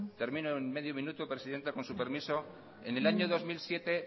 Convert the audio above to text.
termino en medio minuto presidenta con su permiso en el dos mil siete